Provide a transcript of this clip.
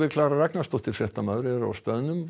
Klara Ragnarsdóttir fréttamaður er á staðnum